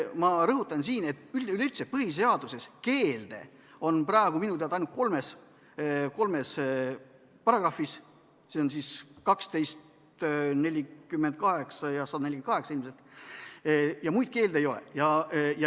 Ma rõhutan siin, et üleüldse on põhiseaduses keelde praegu minu teada ainult kolmes paragrahvis, § 12, § 48 ja § 148 ilmselt, muid keelde ei ole.